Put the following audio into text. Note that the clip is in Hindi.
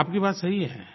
आपकी बात सही है